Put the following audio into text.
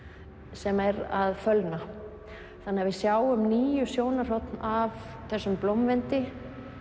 sem er að fölna þannig að við sjáum níu sjónarhorn af þessum blómvendi